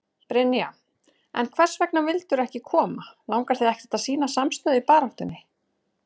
Brynja: En hvers vegna vildirðu ekki koma, langar þig ekki að sýna samstöðu í baráttunni?